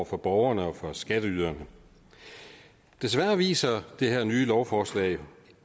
for borgerne og skatteyderne desværre viser det her nye lovforslag